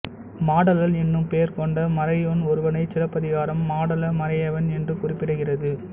மாடலன் என்னும் பெயர் கொண்ட மறையோன் ஒருவனைச் சிலப்பதிகாரம் மாடல மறையவன் என்று குறிப்பிடுகிறது